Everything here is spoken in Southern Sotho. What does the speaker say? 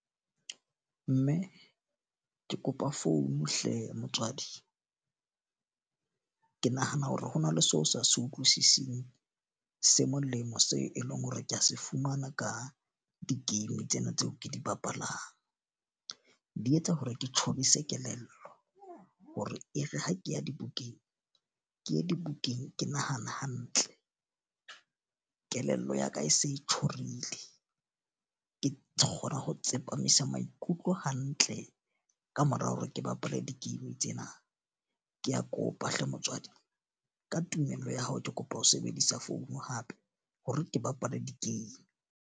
Mme ke kopa phone hle motswadi. Ke nahana hore ho na le seo sa se utlwisiseng se molemo seo e leng hore kea se fumana ka di-game tsena tseo ke di bapalang. Di etsa hore ke tjhorise kelello, hore e re ha ke ya dibukeng, ke ye dibukeng ke nahana hantle kelello ya ka e se e tjorile. Ke kgona ho tsepamisa maikutlo hantle ka mora hore ke bapale di-game tsena. Ke a kopa hle motswadi ka tumello ya hao, ke kopa ho sebedisa phone hape hore ke bapale di-game.